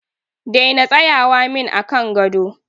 Daina tsayawa min a kan gado.